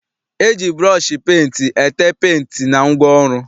E ji bụrọọshị penti ete penti na ngwaọrụ.